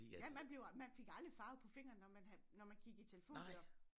Ja man bliver man fik aldrig farve på fingrene når man når man kiggede i telefonbøger